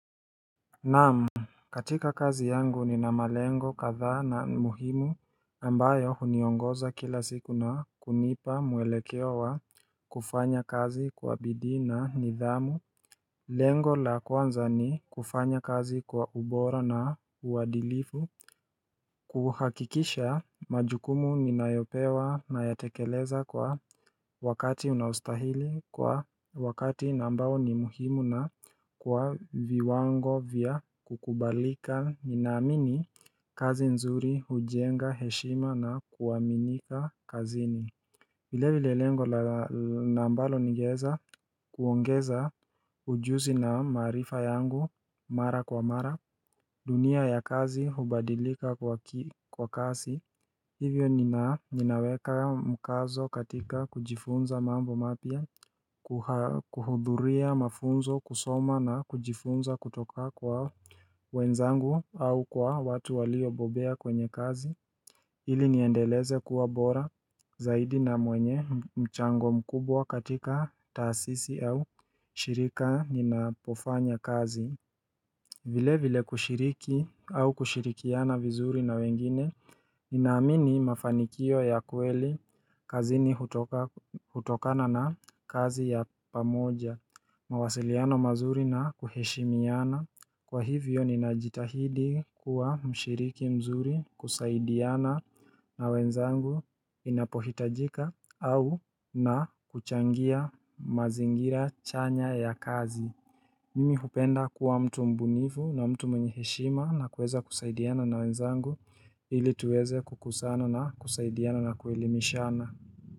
Naam, katika kazi yangu nina malengo kadhaa na muhimu ambayo huniongoza kila siku na kunipa muelekeo wa kufanya kazi kwa bidii na nidhamu Lengo la kwanza ni kufanya kazi kwa ubora na uadilifu kuhakikisha majukumu ninayopewa nayatekeleza kwa wakati unaostahili kwa wakati ambao ni muhimu na kwa viwango vya kukubalika, ninaamini kazi nzuri hujenga heshima na kuaminika kazini Vilevile lengo ambalo ningeeza kuongeza ujuzi na maarifa yangu mara kwa mara, dunia ya kazi hubadilika kwa kasi Hivyo ninaweka mkazo katika kujifunza mambo mapya kuhudhuria mafunzo, kusoma na kujifunza kutoka kwa wenzangu au kwa watu waliobobea kwenye kazi ili niendeleze kuwa bora zaidi na mwenye mchango mkubwa katika taasisi au shirika ninapofanya kazi Vilevile kushiriki au kushirikiana vizuri na wengine, ninaamini mafanikio ya kweli kazini hutokana na kazi ya pamoja, mawasiliano mazuri na kuheshimiana, kwa hivyo ninajitahidi kuwa mshiriki mzuri, kusaidiana na wenzangu inapohitajika au na kuchangia mazingira chanya ya kazi. Mimi hupenda kuwa mtu mbunifu na mtu mwenye heshima na kuweza kusaidiana na wenzangu ili tuweze kukuzana na kusaidiana na kuelimishana.